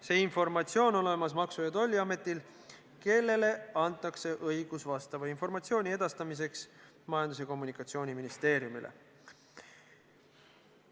See informatsioon on olemas Maksu- ja Tolliametil, kellele antakse õigus vastava informatsiooni edastamiseks Majandus- ja Kommunikatsiooniministeeriumile.